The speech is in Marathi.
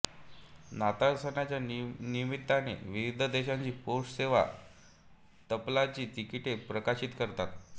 नाताळ सणाच्या निमित्ताने विविध देशांची पोस्ट सेवा तपालाची तिकिटे प्रकाशित करतात